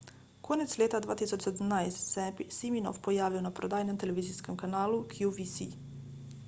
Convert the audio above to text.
konec leta 2017 se je siminoff pojavil na prodajnem televizijskem kanalu qvc